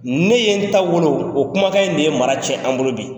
Ne ye n ta wolo o kumakan in de ye mara tiɲɛ an bolo bi.